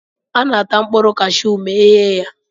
A na-ata mkpụrụ kashụụ ma eghe ya.